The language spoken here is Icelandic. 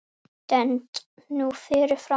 Stend nú fyrir framan hana.